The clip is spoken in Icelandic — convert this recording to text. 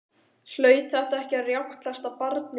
Hlaut þetta ekki að rjátlast af barninu?